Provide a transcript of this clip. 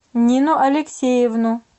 нину алексеевну